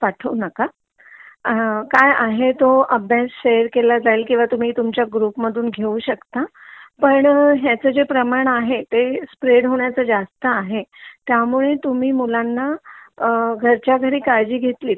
पठाऊ नका अ काय आहे तो अभ्यास तो शेअर केला जाईल तुम्ही तुमच्या ग्रुप मधून घेऊ शकता पण ह्याच जे प्रमाण आहे ते स्प्रेड होण्याच जास्त आहे त्यामुळे तुम्ही मुलांना अ घरच्या घरी काळजी घेतलित